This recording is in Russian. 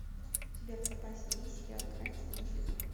у тебя в запасе есть сериал грань седьмой сезон